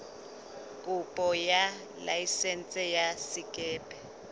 kopo ya laesense ya sekepe